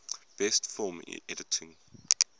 best film editing